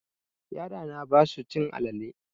Yara na basu cin alale.